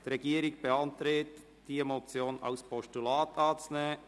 Die Regierung beantragt, die Motion als Postulat anzunehmen.